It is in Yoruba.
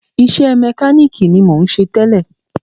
Iṣẹ́ mẹkánìkì ni mò ń ṣe tẹ́lẹ̀.